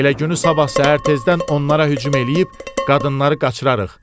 Elə günü sabah səhər tezdən onlara hücum eləyib qadınları qaçırarıq.